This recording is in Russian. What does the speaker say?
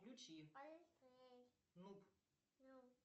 включи нуб